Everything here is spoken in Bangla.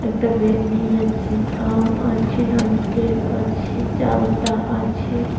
একটা ব্যাগ নিয়ে যাচ্ছে আম আছে নারিকেল আছে চালতা আছে।